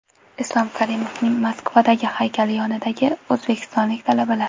Islom Karimovning Moskavadagi haykali yonidagi o‘zbekistonlik talabalar .